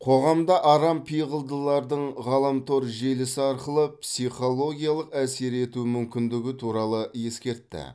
қоғамда арампиғылдылардың ғаламтор желісі арқылы психологиялық әсер ету мүмкіндігі туралы ескертті